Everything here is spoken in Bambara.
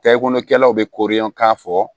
Tayikɛlaw bɛ korilen k'a fɔ